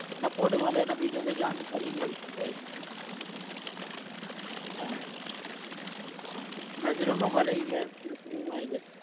support મળે ને બીજું કોઈ જાણકારી મળતી હોય. હા નજરોમાં ભરાઈ ગ્યા નજરો માં આઈ જશે